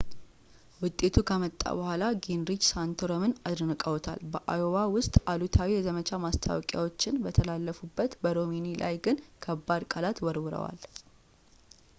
ውጤቱ ከመጣ በኋላ ጊንሪች ሳንቶረምን አድንቀዋል ፣ በአዮዋ ውስጥ አሉታዊ የዘመቻ ማስታወቂያዎች በተላለፉበት በሮምኒ ላይ ግን ከባድ ቃላት ወርውረዋል